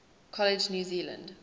college new zealand